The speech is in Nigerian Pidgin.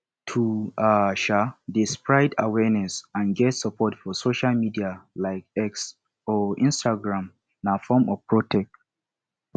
to um de spread awareness and get support for social media like x or instagram na form of protect